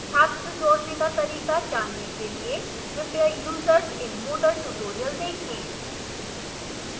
छात्र जोड़ने का तरीका जानने के लिए कृपया users in moodle tutorial देखें